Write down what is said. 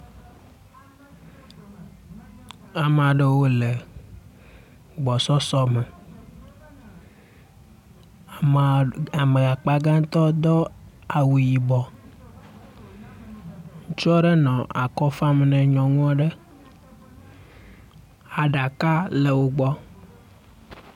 Amea ɖewo le agbɔsɔsɔ me, ame akpa gãtɔ do awu yibɔ. ŋutsu aɖe nɔ akɔfam ne nyɔnu aɖe, aɖaka le wo gbɔ.